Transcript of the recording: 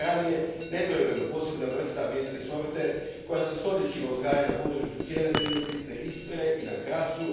Teran je nedvojbeno posebna vrsta vinske sorte koja se stoljećima uzgaja na području cijele zemljopisne Istre i na Krasu.